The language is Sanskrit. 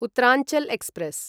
उत्तरांचल् एक्स्प्रेस्